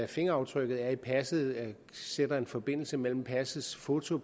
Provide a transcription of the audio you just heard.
fingeraftrykket er i passet sætter en forbindelse mellem passet passets foto